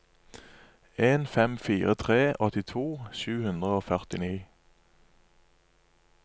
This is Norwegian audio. en fem fire tre åttito sju hundre og førtini